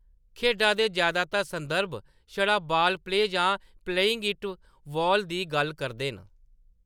खेढा दे जैदातर शुरुआती संदर्भ छड़ा बाल प्ले जां प्लेइंग एट बॉल दी गल्ल करदे न।